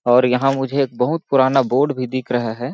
और यहाँ मुझे एक बहुत पुराना बोर्ड भी दिख रहा हैं।